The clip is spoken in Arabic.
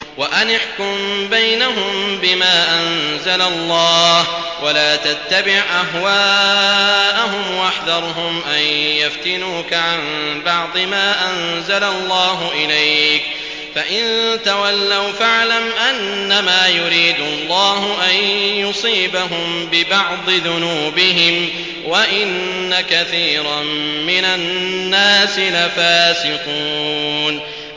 وَأَنِ احْكُم بَيْنَهُم بِمَا أَنزَلَ اللَّهُ وَلَا تَتَّبِعْ أَهْوَاءَهُمْ وَاحْذَرْهُمْ أَن يَفْتِنُوكَ عَن بَعْضِ مَا أَنزَلَ اللَّهُ إِلَيْكَ ۖ فَإِن تَوَلَّوْا فَاعْلَمْ أَنَّمَا يُرِيدُ اللَّهُ أَن يُصِيبَهُم بِبَعْضِ ذُنُوبِهِمْ ۗ وَإِنَّ كَثِيرًا مِّنَ النَّاسِ لَفَاسِقُونَ